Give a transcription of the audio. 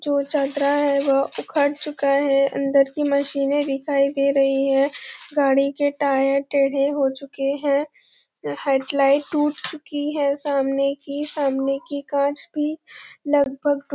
जो चदरा है वो उखड चूका है अंदर की मशीन ने दिखाई दे रही है गाड़ी के टायर टेढ़े हो चुके है हेडलाइट टूट चुकी है सामने की सामने की कांच भी लगभग--